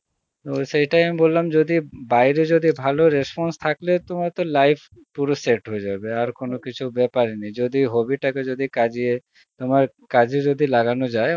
ও সেইটাই আমি বললাম যদি বাইরে যদি ভালো response থাকলে তোমার তো life পুরো set হে যাবে আর কোনো কিছু বেপার ই নেই যদি hobby টাকে যদি কাজিয়ে তোমার কাজ এ যদি লাগানো যায়